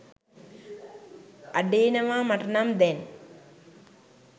අඩේනවා මටනම් දැන්